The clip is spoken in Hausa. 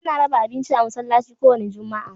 Ana raba abinci a masallci ko wanda juma'a..